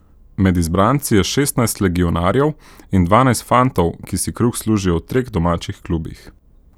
Med izbranci je šestnajst legionarjev in dvanajst fantov, ki si kruh služijo v treh domačih klubih.